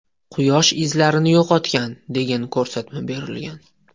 Quyosh izlarni yo‘qotgan, degan ko‘rsatma berilgan.